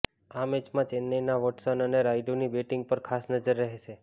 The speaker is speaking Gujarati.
આ મેચમાં ચેન્નાઇના વોટશન અને રાયડૂની બેટીંગ પર ખાસ નજર રહેશે